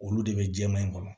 Olu de bɛ jɛman in kɔnɔ